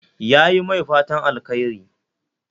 Yayi mai fatan alkhairi